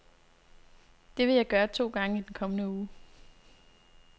Det vil jeg gøre to gange i den kommende uge.